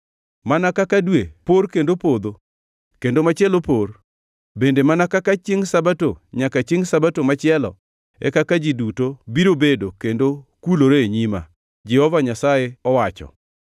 Mana kaka dwe por kendo podho kendo machielo por, bende mana kaka chiengʼ Sabato nyaka chiengʼ Sabato machielo e kaka ji duto biro bedo kendo kulore e nyima,” Jehova Nyasaye owacho.